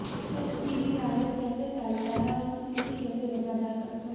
HPV virus कैसे फैलता है और इससे कैसे बचा जा सकता है